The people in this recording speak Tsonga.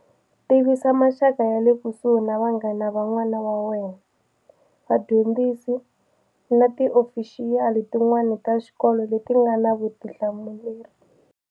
Tivisa maxaka ya le kusuhi na vanghana van'wana wa wena, vadyondzisi na tiofixiyali tin'wana ta xikolo leti nga na vutihlamuleri.